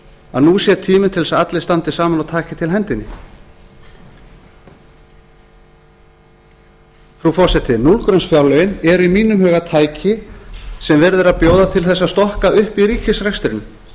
að nú sé tíminn til þess að allir standi saman og taki til hendinni frú forseti núllgrunnsfjárlögin eru í mínum huga tæki sem er verið að bjóða til þess að stokka upp í ríkisrekstrinum